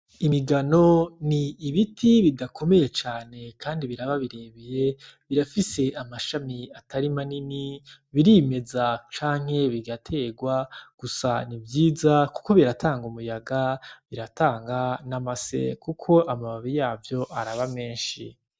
Imigano ni ibiti bidakomeye cane, kandi biraba birebeye birafise amashami atarima nini birimeza canke bigaterwa gusana ivyiza, kuko biratanga umuyaga biratanga n'amase, kuko amababi yavyo araba menshi.